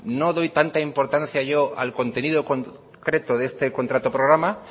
no doy tanta importancia yo al contenido concreto de este contrato programa